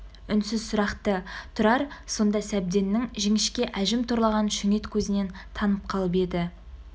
үнсіз сұрақты тұрар сонда сәбденнің жіңішке әжім торлаған шүңет көзінен танып қалып еді